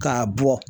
K'a bɔ